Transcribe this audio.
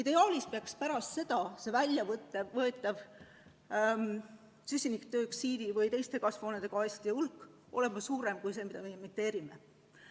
Ideaalis peaks pärast seda see nn väljavõetav süsinikdioksiidi ja teiste kasvuhoonegaaside hulk olema suurem kui see, mida me emiteerime.